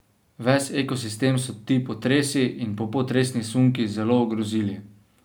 Ves ekosistem so ti potresi in popotresni sunki zelo ogrozili.